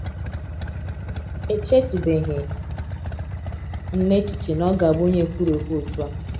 “ Echetụbeghị m n’echiche na ọ ga - abụ onye ekwurekwu otú a! ”